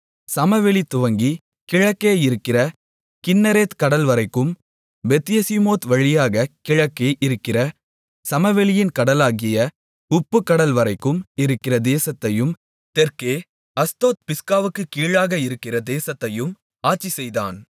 சமவெளி துவங்கிக் கிழக்கே இருக்கிற கின்னரேத் கடல்வரைக்கும் பெத்யெசிமோத் வழியாகக் கிழக்கே இருக்கிற சமவெளியின் கடலாகிய உப்புக்கடல்வரைக்கும் இருக்கிற தேசத்தையும் தெற்கே அஸ்தோத்பிஸ்காவுக்குக் கீழாக இருக்கிற தேசத்தையும் ஆட்சிசெய்தான்